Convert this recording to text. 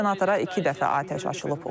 Senatora iki dəfə atəş açılıb.